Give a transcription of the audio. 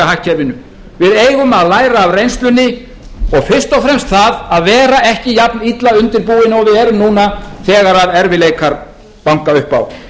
hagkerfinu við eigum að læra af reynslunni og fyrst og fremst það að vera ekki jafnilla undirbúin og við erum núna þegar erfiðleikar banka upp á